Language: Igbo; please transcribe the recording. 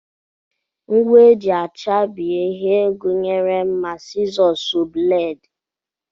Ngwa e ji achabi ihe gụnyere mma, sizọs, sọọ, bleedi